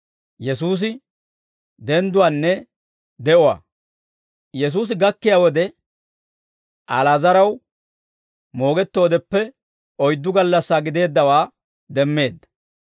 Yesuusi gakkiyaa wode, Ali'aazaraw moogettoodeppe oyddu gallassaa gideeddawaa demmeedda.